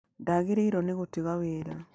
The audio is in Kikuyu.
ndwagĩrĩirwo nĩ gũtiga wĩra